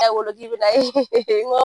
wolo k'i bi n'a ye